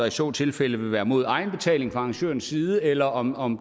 i så tilfælde vil være mod egenbetaling fra arrangørens side eller om om